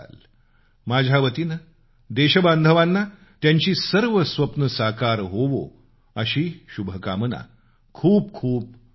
माझ्या वतीनं देशबांधवाना त्यांची सर्व स्वप्नं साकार होवो अशी शुभकामना खूप खूप धन्यवाद